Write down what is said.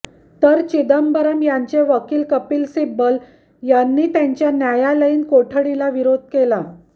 तर चिदंबरम यांचे वकील कपिल सिब्बल यांनी त्यांच्या न्यायालयीन कोठडीला विरोध केला